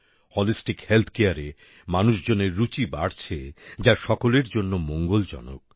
holistic Healthcareএ মানুষজনের রুচি বাড়ছে যা সকলের জন্য মঙ্গলজনক